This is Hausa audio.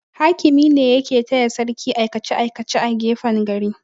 Hakimi ne yake taya sarki aikace-aikace a gefen gari.